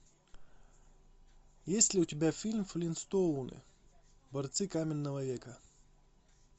есть ли у тебя фильм флинстоуны борцы каменного века